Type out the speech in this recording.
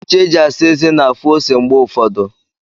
Ncha e ji asa eze na-afụ ose mgbe ụfọdụ.